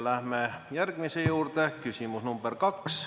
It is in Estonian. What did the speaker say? Läheme järgmise küsimese juurde: küsimus number kaks.